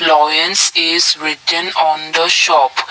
loyans is written on the shop.